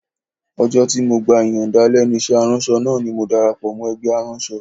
Ọjọ́ tí mo gba ìyànda lẹ́nu iṣẹ́ aránṣọ náà ni mo darapọ̀ mọ́ ẹgbẹ́ aránṣọ